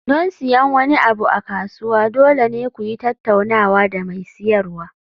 Don siyan wani abu a kasuwa, dole ne ku yi tattaunawa da mai siyarwa.